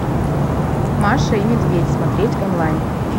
маша и медведь смотреть онлайн